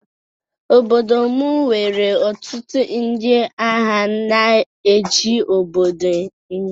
Obodo m nwere ọtụtụ ndị agha na-eche obodo nche.